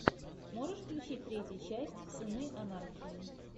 можешь включить третью часть сыны анархии